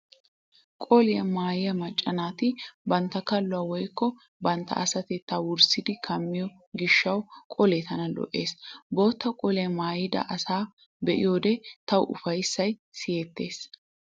Qoliyaa maayiyaa macca naati bantta kalluwaa woykko bantta asatettaa wurssidi kammiyo gishshawu qolee tana lo'ees. Bootta qoliyaa maayida asaa be'iyoode tawu ufayssay siyettees.